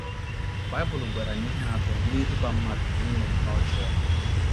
Baịbụl gwara anyị ihe atọ na - eduba mmadụ n’ime ihe ọjọọ.